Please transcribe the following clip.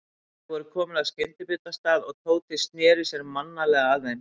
Þau voru komin að skyndibitastað og Tóti sneri sér mannalega að þeim.